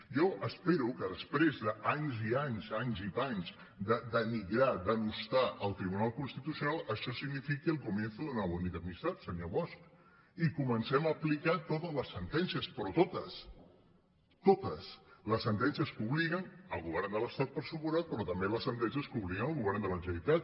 jo espero que després d’anys i anys anys i panys de denigrar denostar el tribu·nal constitucional això signifiqui el comienzo de una bonita amistad senyor bosch i comencem a aplicar totes les sentències però totes totes les sentències que obliguen el govern de l’estat per descomptat pe·rò també les sentències que obliguen el govern de la generalitat